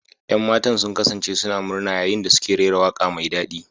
Yan matan sun kasance suna murna yayin da suke rera waƙa mai daɗi.